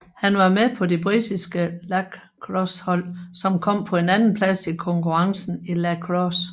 Han var med på det britiske lacrossehold som kom på en andenplads i konkurrencen i lacrosse